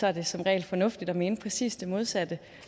er det som regel fornuftigt at mene præcis det modsatte